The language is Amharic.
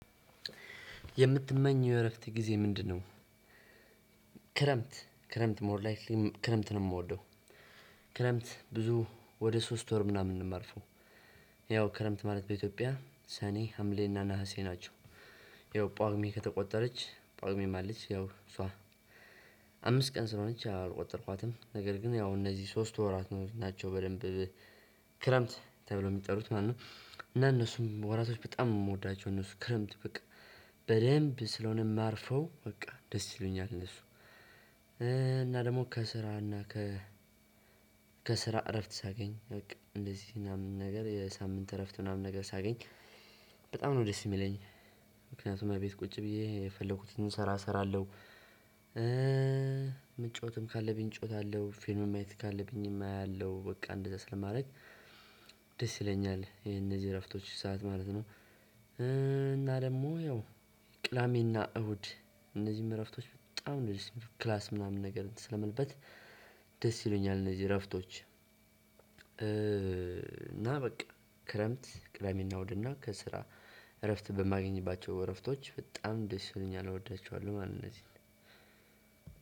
የምትመኘው የእረፍት ጊዜ ምንድን ነው? ክረምት ክረምት ሞር ላይፌም ክረምት ነው የምወደው። ክረምት ብዙ ወደ ሶስት ወር ምናምን ነው እማርፈው። ያው ክረምት ማለት በኢትዮጵያ ሰኔ ሀምሌና ነሀሴ ናቸው። ያው ጷጉሜ ከተቆጠረች ጷጉሜም አለች ያው እሷ አምስት ቀን ስለሆነች አልቆጠርኳትም። ነገር ግን ያው እነዚህ ሶስት ወራቶች ናቸው በደንብ ክረምት ተብሎ የሚጠሩት ማለት ነው። እና እነሱም ወራቶች በጣም የምወዳቸው እነሱ ክረምት በቃ በደንብ ስለሆነ እማርፈው በቃ ደስ ይሉኛል እነሱ እና ደግሞ ከስራና ከ ከስራ እረፍት ሳገኝ በቃ እንደዚህ ምናምን ነገር የሳምንት እረፍት ምናምን ነገር ሳገኝ በጣም ነው ደስ የሚለኝ። ምክንያቱም እቤት ቁጭ ብዬ የፈለኩትን ስራ እሰራለሁ። መጫወትም ካለብኝ እጫወታለሁ። ፊልም ማየት ካለብኝም አያለሁ። በቃ እንደዛ ስለማድረግ ደስ ይለኛል። የነዚህ እረፍቶች ሰዓት ማለት ነው። እና ደግሞ ያው ቅዳሜና እሁድ እነዚህም እረፍቶች በጣም ደስ የሚሉት። ክላስ ምናምን ነገር ስለምልበት ደስ ይሉኛል እነዚህ እረፍቶች እና በቃ ክረምት ቅደሜና እሁድና ከስራ እረፍት በማገኝባቸው እረፍቶች በጣም ደስ ይሉኛል። እወዳቸዋለሁ ማለት ነው እነዚህን